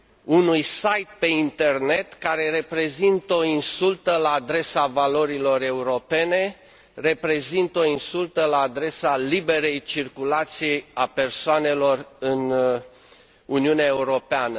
unui site pe internet care reprezintă o insultă la adresa valorilor europene, reprezintă o insultă la adresa liberei circulații a persoanelor în Uniunea Europeană.